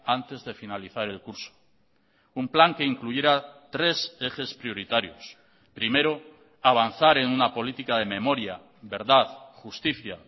antes de finalizar el curso un plan que incluyera tres ejes prioritarios primero avanzar en una política de memoria verdad justicia